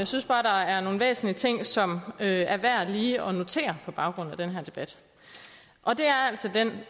synes bare der er nogle væsentlige ting som det er værd lige at notere på baggrund af den her debat og det er altså